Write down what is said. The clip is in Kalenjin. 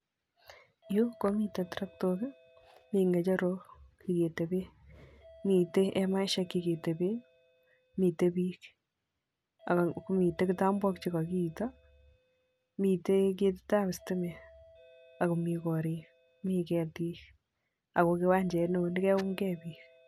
Yu komiten terektok ii ,mi ngecherok cheketeben, metei emaisiek cheketebee ,,mitei bik